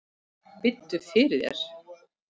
Biddu fyrir þér!